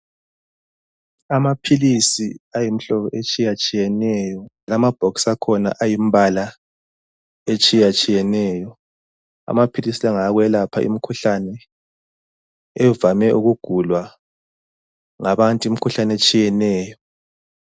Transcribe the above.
Amaphilisi ayimhlobo etshiyatshiyeneyo, lamabhokisi akhona ayimbala etshiyatshiyeneyo. Amaphilisi lawa ngawokwelapha imkhuhlane evame ukugulwa ngabantu, imkhuhlane etshiyeneyo.